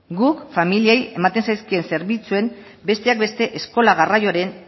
guk familiei ematen zaizkien zerbitzuen besteak beste eskola garraioren